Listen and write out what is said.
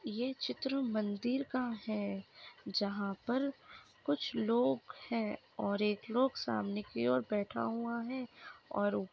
ये चित्र मंदिर का है जहा पर कुछ लोग है और एक लोग सामने की और बैठा हुआ है। और वो--